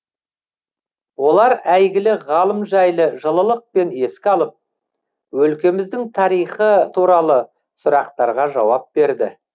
олар әйгілі ғалым жайлы жылылықпен еске алып өлкеміздің тарихы туралы сұрақтарға жауап берді